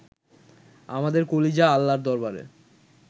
আমাদের কলিজা আল্লার দরবারে